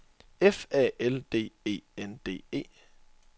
F A L D E N D E